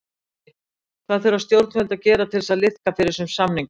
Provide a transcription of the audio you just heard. Gunnar Atli: Hvað þurfa stjórnvöld að gera til að liðka fyrir þessum samningum?